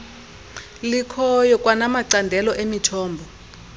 likhoyo kwanamacandelo emithombo